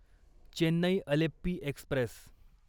Chennai Alleppey Express